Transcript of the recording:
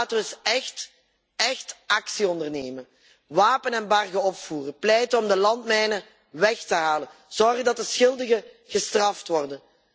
Laten we eens echt actie ondernemen. Wapenembargo opvoeren, pleiten om de landmijnen weg te halen, zorgen dat de schuldigen gestraft worden.